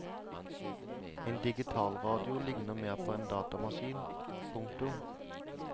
En digitalradio ligner mere på en datamaskin. punktum